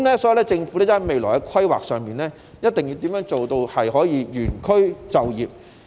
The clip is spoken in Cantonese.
因此，在未來規劃上，政府一定要做到原區就業。